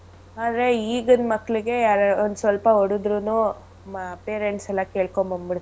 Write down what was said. ಆದ್ರೆ ಈಗಿನ್ ಮಕ್ಳಿಗೆ ಯಾರಾರು ಒಂದ್ಸ್ವಲ್ಪ ಹೊಡದ್ರುನೂ ಮ~ parents ಎಲ್ಲಾ ಕೇಳ್ಕೊಂಡ್ ಬಂದ್ಬಿಡ್ತಾರೆ.